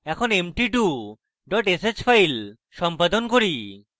এখন empty2 dot sh file সম্পাদন করি